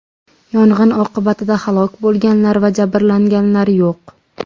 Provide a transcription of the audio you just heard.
Yong‘in oqibatida halok bo‘lganlar va jabrlanganlar yo‘q.